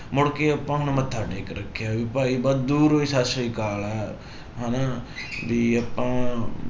ਮੁੜਕੇ ਆਪਾਂ ਹੁਣ ਮੱਥਾ ਟੇਕ ਰੱਖਿਆ ਵੀ ਭਾਈ ਬਸ ਦੂਰੋਂ ਹੀ ਸਤਿ ਸ੍ਰੀ ਅਕਾਲ ਹੈ ਹਨਾ ਵੀ ਆਪਾਂ